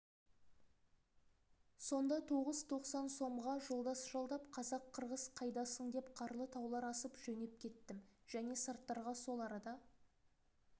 сонда тоғыз тоқсан сомға жолдас жалдап қазақ-қырғыз қайдасың деп қарлы таулар асып жөнеп кеттім және сарттарға сол арада